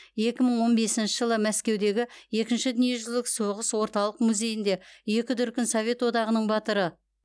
екі мың он бесінші жылы мәскеудегі екінші дүниежүзілік соғыс орталық музейінде екі дүркін совет одағының батыры